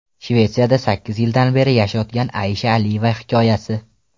Shvetsiyada sakkiz yildan beri yashayotgan Aisha Aliyeva hikoyasi.